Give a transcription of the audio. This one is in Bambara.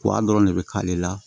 dɔrɔn de bɛ k'ale la